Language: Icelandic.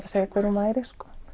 að segja hver hún væri